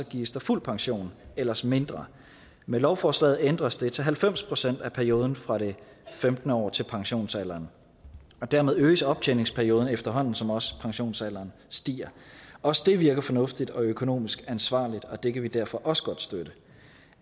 gives der fuld pension ellers mindre med lovforslaget ændres det til halvfems procent af perioden fra det femtende år til pensionsalderen dermed øges optjeningsperioden efterhånden som også pensionsalderen stiger også det virker fornuftigt og økonomisk ansvarligt og det kan vi derfor også godt støtte